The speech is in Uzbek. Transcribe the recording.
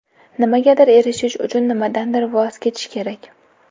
Nimagadir erishish uchun nimadandir voz kechish kerak.